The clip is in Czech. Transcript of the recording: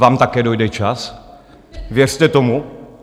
Vám také dojde čas, věřte tomu.